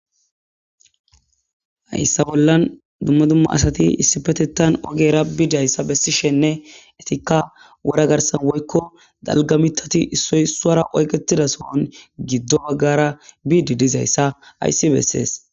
hayssa bollan dumma dumma asati issi petetan ogera bidayssa bessishenne etikka wora garsan woykko dalga mitati issoy suara oyketida sohon giddo waggara biidi dizayssa ayssi bessees